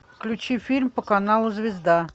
включи фильм по каналу звезда